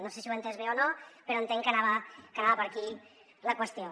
no sé si ho he entès bé o no però entenc que anava per aquí la qüestió